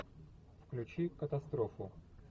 включи катастрофу